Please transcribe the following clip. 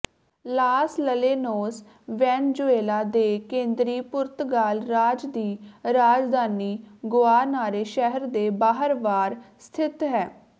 Las Llanos Venezuela ਦੇ ਕੇਂਦਰੀ Portugal ਰਾਜ ਦੀ ਰਾਜਧਾਨੀ ਗੁਆਨਾਰੇ ਸ਼ਹਿਰ ਦੇ ਬਾਹਰਵਾਰ ਸਥਿਤ ਹੈ